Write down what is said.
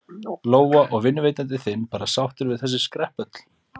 Lóa: Og er vinnuveitandi þinn bara sáttur við þessi skrepp öll?